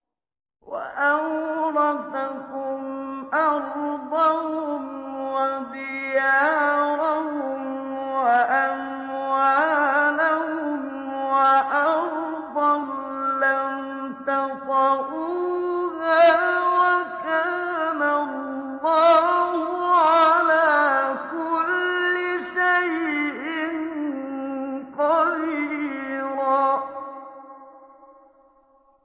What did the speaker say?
وَأَوْرَثَكُمْ أَرْضَهُمْ وَدِيَارَهُمْ وَأَمْوَالَهُمْ وَأَرْضًا لَّمْ تَطَئُوهَا ۚ وَكَانَ اللَّهُ عَلَىٰ كُلِّ شَيْءٍ قَدِيرًا